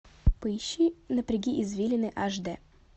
поищи напряги извилины аш дэ